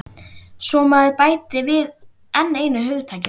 Svo maður bæti við enn einu hugtakinu.